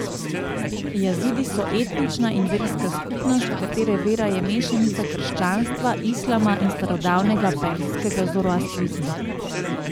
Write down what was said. Jazidi so etnična in verska skupnost, katere vera je mešanica krščanstva, islama in starodavnega perzijskega zoroastrizma.